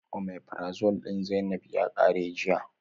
Omeprazole din zainab ya qare jiya.